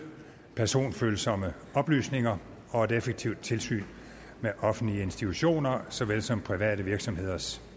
personfølsomme oplysninger og et effektivt tilsyn med offentlige institutioner såvel som private virksomheders